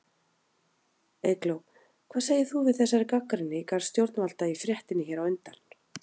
Eygló, hvað segir þú við þessari gagnrýni í garð stjórnvalda í fréttinni hér á undan?